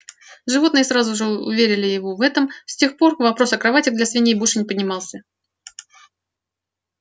животные сразу же уверили его в этом и с тех пор вопрос о кроватях для свиней больше не поднимался